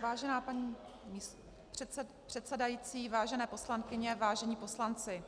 Vážená paní předsedající, vážené poslankyně, vážení poslanci,